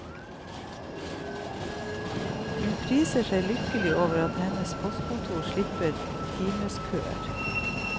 Hun priser seg lykkelig over at hennes postkontor slipper timeskøer.